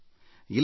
ಇಲ್ಲ ಇಲ್ಲ